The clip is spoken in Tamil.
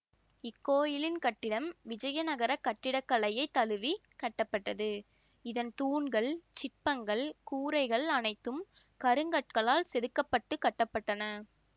இக்கோயிலின் கட்டிடம் விஜயநகரக் கட்டிடக்கலையைத் தழுவி கட்டப்பட்டது இதன் தூண்கள் சிற்பங்கள் கூரைகள் அனைத்தும் கருங்கற்களால் செதுக்கப்பட்டுக் கட்ட பட்டன